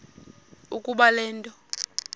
ukuba le nto